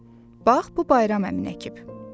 Bax, bu Bayram əmin əkib.